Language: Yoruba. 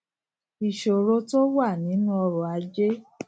ìṣòro tó wà nínú ọrọ ajé